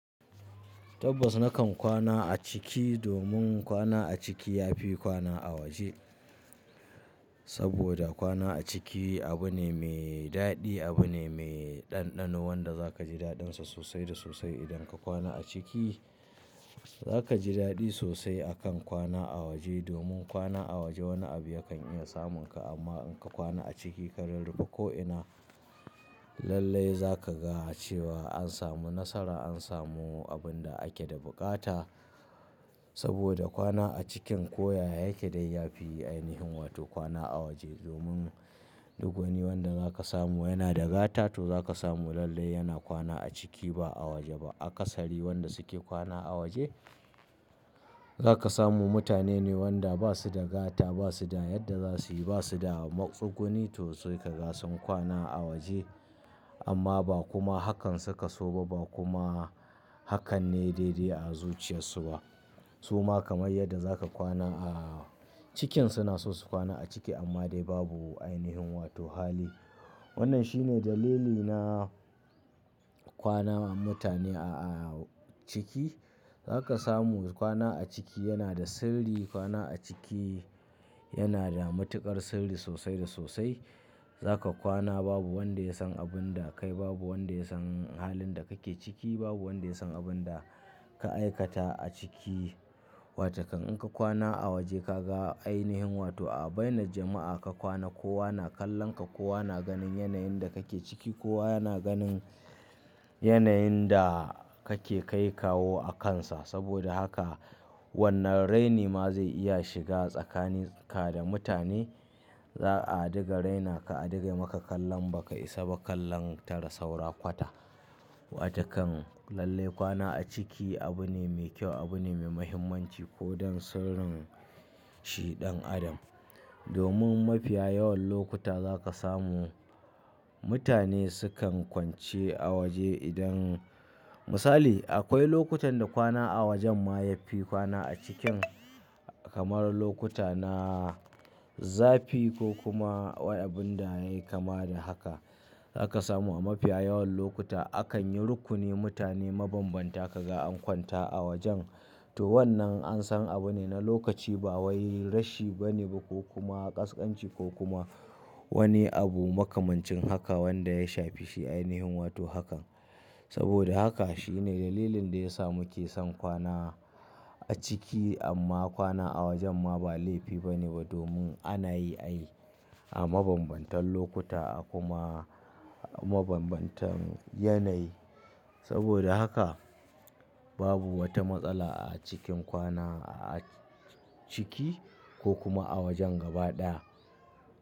Tabbas na kan kwana a ciki, domin kwana a ciki yafi kwana a waje. Saboda kwana a ciki abu ne mai daɗi, abu ne mai ɗanɗano, wanda zaka ji daɗinsa sosai da sosai idan ka kwana a ciki. Zaka ji daɗi sosai akan kwana a waje, domin kwana a waje wani abu yakan iya samun ka, amma in ka kwana a ciki ka rurrufa ko'ina lallai zaka ga cewa an samu nasara, an samu abun da ake da buƙata. Saboda kwana a cikin koya yake dai, yafi ainihin wato kwana a waje. Domin duk wani wanda zaka samu yana da gata to zaka samu lallai yana kwana a ciki ba a waje ba. A ƙasari wanda suke kwana a waje zaka samu mutane ne wanda basu da gata, basu da yadda za suyi, basu da matsu guni, to su kaga sun kwana a waje. Amma ba kuma hakan suka so ba, ba kuma hakan ne daidai a zuciyarsu ba. Su ma kamar yadda za ka kwana a cikin, suna so su kwana a ciki amma dai babu ainihin wato hali. Wannan shine dalili na kwana mutane a ciki. Zaka samu kwana a ciki yana da sirri, kwana a ciki yana da matuƙar sirri sosai da sosai. Zaka kwana babu wanda ya san abun da kai, babu wanda ya san halin da kake ciki, babu wanda ya san abun da ka aikata a ciki. Wace kan in ka kwana a waje ka ga ainihin, wato a bainar jama'a ka kwana kowa na kallon ka, kowa na ganin yanayin da kake ciki, kowa yana ganin yanayin da kake kai kawo a kansa. Saboda haka, wannan raini ma zai iya shiga tsakanin ka da mutane. Za'a dinga raina ka, a dinga maka kallon ba ka isa ba kallon tara saura kwata. Wace kan lallai kwana a ciki abu ne mai kyau, abu ne mai muhimmanci ko don sirrin shi ɗan adam. Domin mafiya yawan lokuta zaka samu mutane sukan kwance a waje idan, misali akwai lokutan da kwana a wajen ma yafi kwana a cikin, kamar lokuta na zafi ko kuma wai abuna yayi kama da haka. Za ka samu a mafiya yawan lokuta, akan yi rukuni mutane mabanbanta ka ga an kwanta a wajen. To, wannan an san abu ne na lokaci, ba wani rashi bane ba, ko kuma ƙasƙanci, ko kuma wani abu makamancin haka, wanda ya shafi shi ainihin wato hakan. Saboda haka shine dalilin da ya sa muke son kwana a ciki, amma kwana a wajen ma ba laifi bane ba, domin ana yi ai a mabambantan lokuta a kuma mabambantan yanayi. Saboda haka babu wata matsala a cikin kwana a ciki ko kuma a wajen gaba ɗaya.